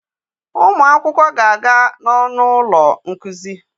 Ụmụ akwụkwọ ga-aga n'ọnụ ụlọ nkuzi.